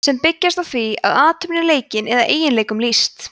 sem byggjast á því að athöfn er leikin eða eiginleikum lýst